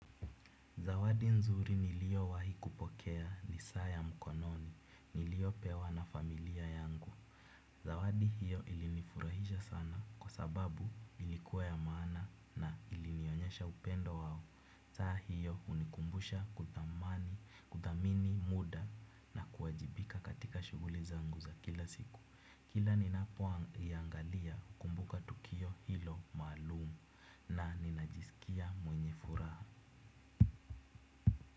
Nzuri niliyowahi kupokea ni saa ya mkononi. Niliyopewa na familia yangu. Zawadi hiyo ilinifurahisha sana kwa sababu ilikuwa ya maana na ilinionyesha upendo wao. Saa hiyo hunikumbusha kuthamini, muda na kuwajibika katika shughuli zangu za kila siku. Kila ninapoiangalia hukumbuka tukio hilo maalumu na ninajisikia mwenye furaha.